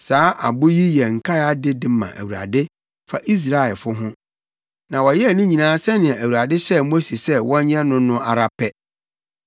Saa abo yi yɛ nkae ade de ma Awurade fa Israelfo ho, na wɔyɛɛ ne nyinaa sɛnea Awurade hyɛɛ Mose sɛ wɔnyɛ no no ara pɛ.